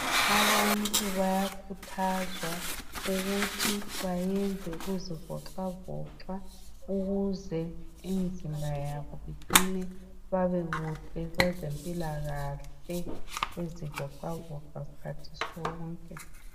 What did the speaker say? Abantu bayakhuthazwa ukuthi bayenze ukuzivoxavoxa ukuze imzimba yabo iqine babe muhle kwezempilakahle bezivoxavoxa skhathi sonke .